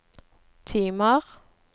timer